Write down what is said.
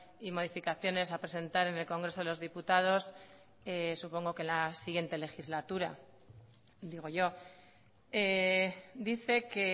y modificaciones a presentar en el congreso de los diputados supongo que la siguiente legislatura digo yo dice que